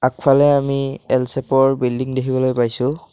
ইফালে আমি এল ছেপৰ বিল্ডিং দেখিবলৈ পাইছোঁ।